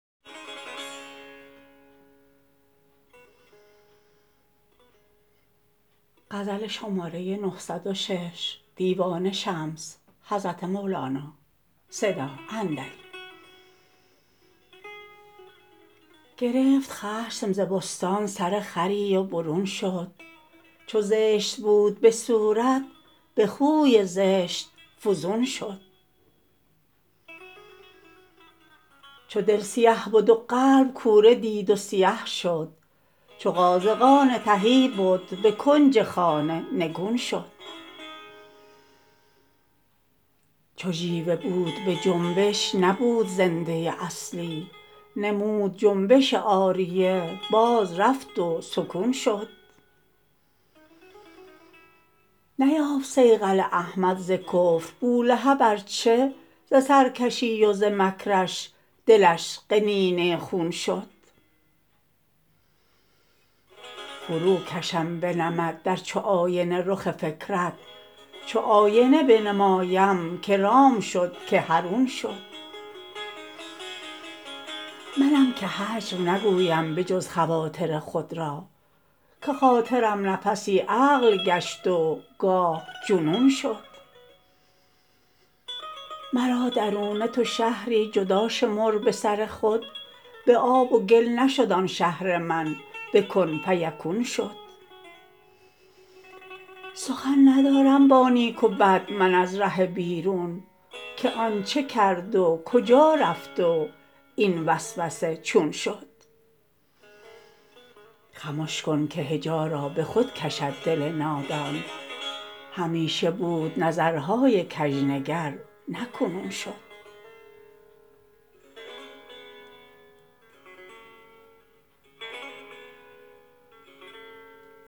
گرفت خشم ز بستان سرخری و برون شد چو زشت بود به صورت به خوی زشت فزون شد چون دل سیاه بد و قلب کوره دید و سیه شد چو قازغان تهی بد به کنج خانه نگون شد چو ژیوه بود به جنبش نبود زنده اصلی نمود جنبش عاریه بازرفت و سکون شد نیافت صیقل احمد ز کفر بولهب ار چه ز سرکشی و ز مکرش دلش قنینه خون شد فروکشم به نمد در چو آینه رخ فکرت چو آینه بنمایم کی رام شد کی حرون شد منم که هجو نگویم به جز خواطر خود را که خاطرم نفسی عقل گشت و گاه جنون شد مرا درونه تو شهری جدا شمر به سر خود به آب و گل نشد آن شهر من به کن فیکون شد سخن ندارم با نیک و بد من از بیرون که آن چه کرد و کجا رفت و این ز وسوسه چون شد خموش کن که هجا را به خود کشد دل نادان همیشه بود نظرهای کژنگر نه کنون شد